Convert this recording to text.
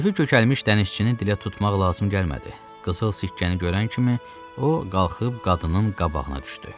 Köfük kökəlmiş dənizçinin dilə tutmaq lazım gəlmədi, qızıl sikkəni görən kimi o qalxıb qadının qabağına düşdü.